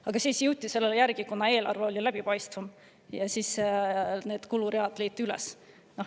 Siis, kuna eelarve oli läbipaistvam, need kuluread leiti üles.